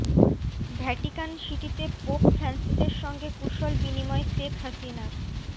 Vatican সিটিতে pope ফ্রান্সিসের সঙ্গে কুশল বিনিময় শেখ হাসিনার